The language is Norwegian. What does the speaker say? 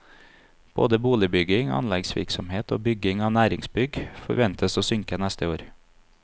Både boligbygging, anleggsvirksomhet og bygging av næringsbygg forventes å synke neste år.